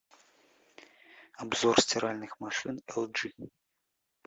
обзор стиральных машин эл джи